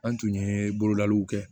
An tun ye bololaliw kɛ